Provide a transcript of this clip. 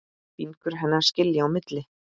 Fingur hennar skilja á milli.